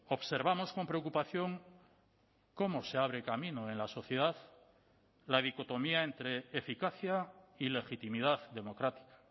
observamos con preocupación cómo se abre camino en la sociedad la dicotomía entre eficacia y legitimidad democrática